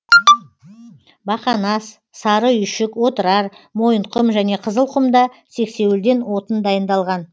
бақанас сары үйшік отырар мойынқұм және қызылқұмда сексеуілден отын дайындалған